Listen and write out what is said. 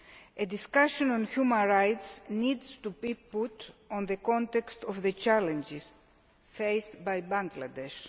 A discussion on human rights needs to be put in the context of the challenges faced by Bangladesh.